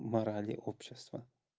морали общества